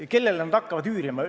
Ja kellele nad hakkavad üürima?